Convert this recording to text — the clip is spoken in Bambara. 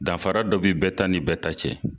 Dafara dɔ bi bɛɛ ta ni bɛɛ ta cɛ